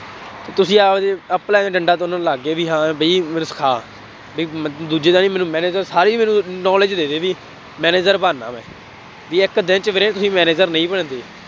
ਤੁਸੀਂ ਆਪਦੇ ਆਪਣਿਆਂ ਦੇ ਡੰਡਾ ਥੁੰਨਣ ਲੱਗ ਗਏ ਬਈ ਹਾਂ ਬਈ ਮੈਨੂੰ ਸਿਖਾ, ਬਈ ਮੈ ਦੂਜੇ ਦਿਨ ਹੀ ਮੈਨੂੰ manager ਸਾਰੀ ਮੈਨੂੰ knowledge ਦੇ ਦੇ ਬਈ, manager ਬਣਨਾ ਮੈਂ, ਬਈ ਇੱਕ ਦਿਨ ਚ ਵੀਰੇ ਤੁਸੀਂ manager ਨਹੀਂ ਬਣਦੇ।